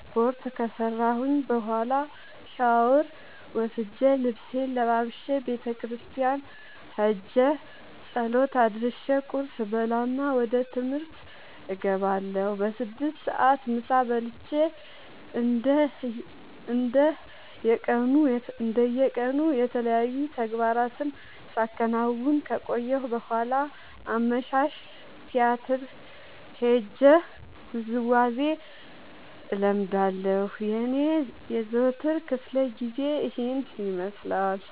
ስፓርት ከሰራሁኝ በኋላ ሻውር ወስጄ ልብሴን ለባብሼ ቤተክርስቲያን ኸጄ ፀሎት አድርሼ ቁርስ እበላና ወደ ትምህርት እገባለሁ። በስድስት ሰዓት ምሳ በልቼ እንደ የቀኑ የተለያዩ ተግባራትን ሳከናውን ከቆየሁ በኋላ አመሻሽ ቲያትር ሄጄ ውዝዋዜ እለምዳለሁ የኔ የዘወትር ክፍለጊዜ ይኸን ይመስላል።